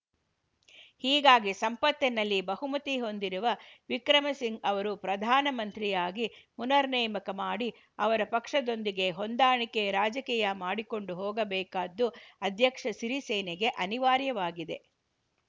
ಹೀಗಾಗಿ ಸಂಸತ್ತಿನಲ್ಲಿ ಬಹುಮತಿ ಹೊಂದಿರುವ ವಿಕ್ರಮಸಿಂ ಅವರನ್ನು ಪ್ರಧಾನ ಮಂತ್ರಿಯಾಗಿ ಪುನರ್‌ ನೇಮಕ ಮಾಡಿ ಅವರ ಪಕ್ಷದೊಂದಿಗೆ ಹೊಂದಾಣಿಕೆ ರಾಜಕೀಯ ಮಾಡಿಕೊಂಡು ಹೋಗಬೇಕಾದ್ದು ಅಧ್ಯಕ್ಷ ಸಿರಿಸೇನಗೆ ಅನಿವಾರ್ಯವಾಗಿದೆ